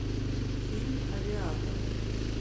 фильм авиатор